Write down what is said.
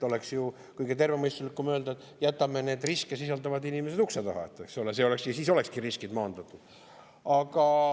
Oleks ju kõige tervemõistuslikum öelda, et jätame need riske inimesed ukse taha ja siis olekski riskid maandatud.